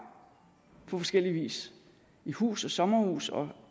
på forskellig vis i hus og sommerhus og